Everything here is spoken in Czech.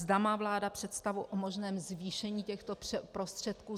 Zda má vláda představu o možném zvýšení těchto prostředků.